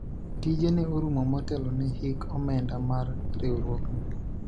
tija ne orumo motelo ne hik omenda mar riwruogno